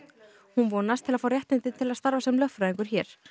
hún vonast til að fá réttindi til að starfa sem lögfræðingur hér